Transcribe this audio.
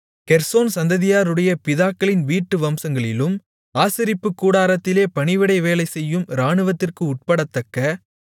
Gershon சந்ததியாருடைய பிதாக்களின் வீட்டு வம்சங்களிலும் ஆசரிப்புக் கூடாரத்திலே பணிவிடை வேலைசெய்யும் இராணுவத்திற்கு உட்படத்தக்க